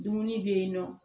Dumuni bɛ yen nɔ